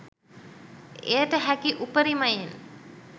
එයට හැකි උපරිමයෙන්